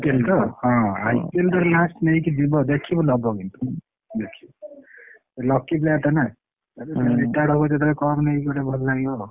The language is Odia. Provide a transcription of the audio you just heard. IPL ତ IPL ଯେତେବେଳେ last ନେଇକି ଯିବ ଦେଖିବୁ ସିଏ lucky player ଟା ନା ସେ ଫୁଣି retired ହବ ଯେତେବେଳେ cup ନେଇକି ଗୋଟେ ଭଲ ଲାଗିବ।